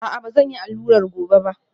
A'a, ba zan yi allurar gobe ba